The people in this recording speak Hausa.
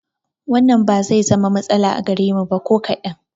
Wannan ba zai zama da matsala a gare mu ba ko kaɗan